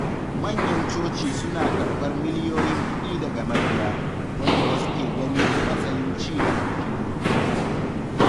Manyan coci suna karɓar miliyoyin kuɗi daga mabiya, wanda wasu ke gani a matsayin ci da addini.